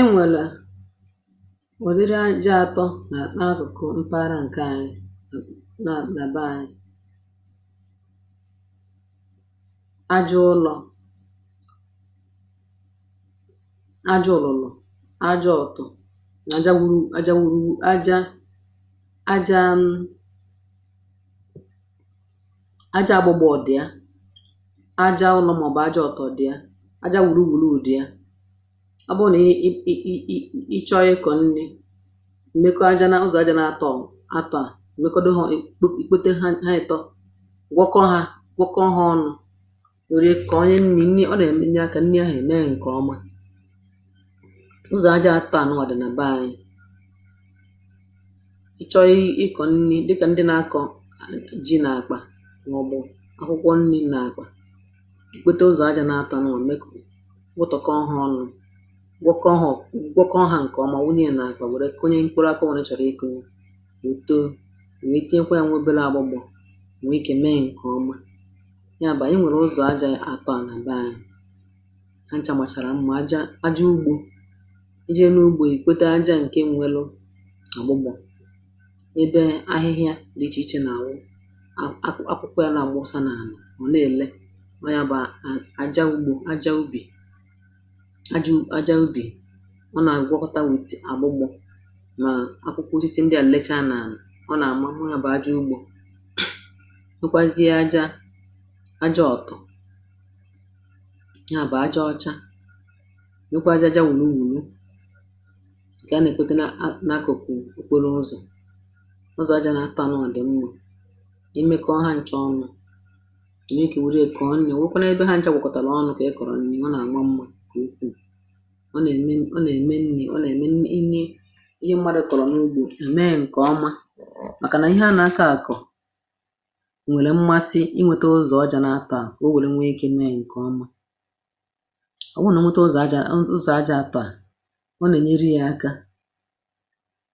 enwèlè wùziri àjá atọ nà n’akụ̀kụ̀ mpaghara ǹke ànyị um nà byee ajọ̇ ụlọ̀, ajọ̇ ụlọ̀, ajọ ọ̀tọ̀, nà àjá wùrù ajȧ, ajȧ, ajȧ, ȧgbụ̇gbọ̇ ọ̀ dị̀ àjá ụlọ̀ màọ̀bụ̀ ajọ ọ̀tọ̀ dị̀. ọ bụrụ nà ị, ị ịchọ ya ịkọ̀ nri, emekọa aja n’ụzọ̀, aja n’àtọ̇ m atọ a èkpote ha um ị tọ gwọkọ ha, gwọkọ ha ọnụ̇, wère kà onye nri nri ọ nà èmenye a, kà nri ahụ̀ èmee ǹkè ọma. ụzọ̀ aja atọ a nwà dì nà be arị, ị chọọ ya ịkọ̀ nri dịkà ndị na akọ̀ ji nà àkpà, mọ̀bụ̀ akwụkwọ nri nà àkpà nwokė ọhụrụ̇ gwakọhụ̇ ǹkè ọmà, wụnị̇lị̇ nà òwùrè, ka onye nkwụrụ akọ̇ wụ̀rụ̀chàrà ikȧ ìko òto, nwè e tienkwa yȧ, nwebelȧ agbọ̇gbọ̀, nwe ike mee ǹkè ọma. yà bà, i nwèrè ụzọ̀ aja atọ̇ à nà gbaa anyị̇ ha nchà, màchàrà mmȧ um aja, aja ugbȯ i jee n’ugbȯ èkwete. aja ǹke nwelu àgbọ gbọ̀ ebe ahịhịa dị̇ ichė-ichė nà àwụ akwụkwọ, yȧ nà àgbọ ọsa nà ànà ọ̀, na-èle ajȧ ubi̇, ọ nà àgwọkọta wùtì àgwọgbọ̇. mà akwụkwọ ozi sì ndị à nlecha nà ọ nà àmahụ hụ yȧ bụ̀ ajọ̇ ugbȯ, nwekwazie ajȧ ajọ̇ ọ̀tụ̀, ya bụ̀ ajọ̇ ọcha, nwekwazie ajȧ wùru ùrù ike. a nà èkpòte n’akụ̀kụ̀ òkweru ụzọ̀, ụzọ̀ ajȧ na atànụ̀ àdịm mwu̇ imė, kà ọha nchà ọnụ̇ à nà e kè, wère kà ọnụ̇ à wèkwanụ ebe ha nchà wùkọ̀tàrà ọnụ̇, kà e kọ̀rọ̀ nì ọ nà ẹ̀mẹ, ọ nà ẹ̀mẹ nni̇, ọ nà ẹ̀mẹ nni̇ ihe mmadu̇ kọ̀rọ̀ n’ugbȯ à. mẹ ǹkọ̀ ọma, màkà nà ihe a nà aka àkọ̀ ò nwèrè mmasi, inwėte ụzọ̀ ọ jà nà atọ à um o wèru nwee gi nà ẹ̀ nke ọma. ọ wụnà nwete ụzọ̀ àjà, ụzọ̀ àjà àtọ à, ọ nà nyẹnyẹ aka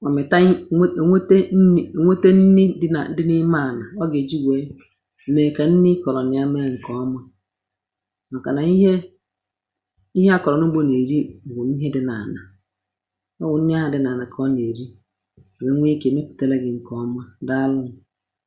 mà mẹ̀ta ò, nwete nni̇ di nà dị n’ime ànà à gà e ji wèe mẹ̀kà nni kọ̀rọ̀ nya. mẹ̇ ǹkọ̀ ọma, mà kà nà ihe bụ̀ nwè ihe dị n’anà, ọ wụ̀ nne ahụ̀ dị n’anà kà ọ nyèrì wèe nke mepụ̀tara gị̇ ǹkè ọma. dàalụ nù.